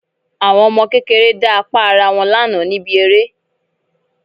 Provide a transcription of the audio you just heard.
Àwọn ọmọ kékeré dá apá ará wọn lánàá níbi eré